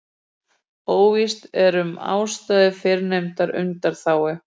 Óvíst er um ástæðu fyrrnefndrar undanþágu.